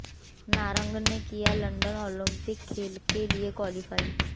नारंग ने किया London Olympic खेल के लिए क्वालीफाई